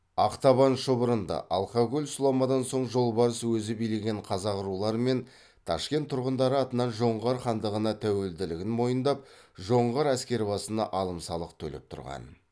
ақтабан шұбырынды алқакөл сұламадан соң жолбарыс өзі билеген қазақ рулары мен ташкент тұрғындары атынан жоңғар хандығына тәуелділігін мойындап жоңғар әскербасына алым салық төлеп тұрған